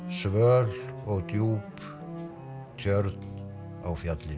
svöl og djúp tjörn á fjallinu